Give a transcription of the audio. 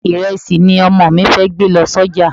Ìrẹsì ni Ọmọ mi fẹ́ gbé lọ sọ́jà.